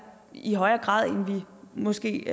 i højere grad end vi måske